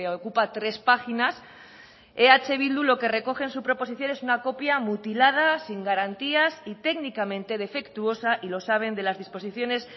ocupa tres páginas eh bildu lo que recoge en su proposición es una copia mutilada sin garantías y técnicamente defectuosa y lo saben de las disposiciones